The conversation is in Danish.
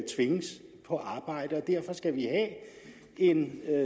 tvinges på arbejde derfor skal vi have en